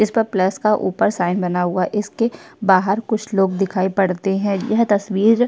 इसपर प्लस का ऊपर साइन बना हुआ है इसके बाहर कुछ लोग दिखाई पड़ते है यह तस्वीर --